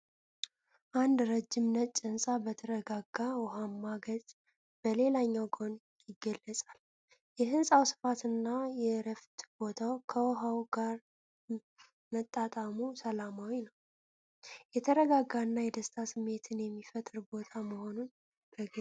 አንድ ረጅም ነጭ ህንፃ በተረጋጋ ውሃማ ገጽ በሌላኛው ጎን ይገለጻል። የህንፃው ስፋትና የእረፍት ቦታው ከውሃው ጋር መጣጣሙ ሰላማዊ ነው፤ የተረጋጋና የደስታ ስሜትን የሚፈጥር ቦታ መሆኑን በግልጽ ያሳያል።